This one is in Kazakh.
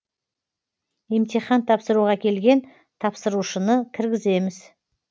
емтихан тапсыруға келген тапсырушыны кіргіземіз